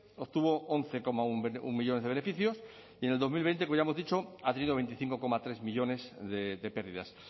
obtuvo once coma uno millónes de beneficios y en el dos mil veinte como ya hemos dicho ha tenido veinticinco coma tres millónes de pérdidas